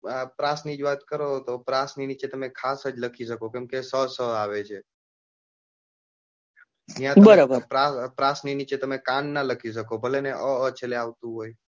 પ્રાસ ની જ વાત કરો કે પ્રાસની નીચે તમે ખાસ જ લખી શકો છો કેમ કે શ, ષ આવે છે એમાં પ્રાસ ની નીચે તમે કાન નાં લખી શકો ભલે ને અ અ આવતું છલ્લે આવતું હોય.